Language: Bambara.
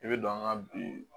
I bɛ don an ka bi